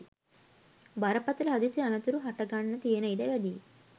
බරපතළ හදිසි අනතුරු හට ගන්න තියෙන ඉඩ වැඩියි.